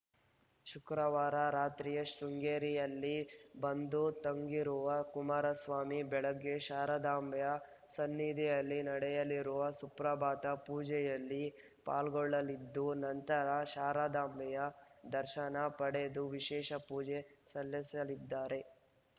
ಶುಕ್ರವಾರ ರಾತ್ರಿಯೇ ಶೃಂಗೇರಿಯಲ್ಲಿ ಬಂದು ತಂಗಿರುವ ಕುಮಾರಸ್ವಾಮಿ ಬೆಳಗ್ಗೆ ಶಾರದಾಂಬೆಯ ಸನ್ನಿಧಿಯಲ್ಲಿ ನಡೆಯಲಿರುವ ಸುಪ್ರಭಾತ ಪೂಜೆಯಲ್ಲಿ ಪಾಲ್ಗೊಳಲಿದ್ದು ನಂತರ ಶಾರದಾಂಬೆಯ ದರ್ಶನ ಪಡೆದು ವಿಶೇಷ ಪೂಜೆ ಸಲ್ಲಿಸಲಿದ್ದಾರೆ